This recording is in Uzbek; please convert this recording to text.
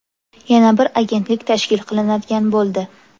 Yana bir agentlik tashkil qilinadigan bo‘ldi.